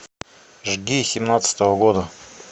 жги семнадцатого года